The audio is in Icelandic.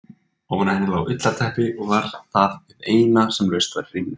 Ofan á henni lá ullarteppi og var það hið eina sem laust var í rýminu.